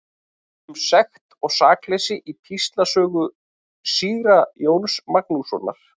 Um sekt og sakleysi í Píslarsögu síra Jóns Magnússonar.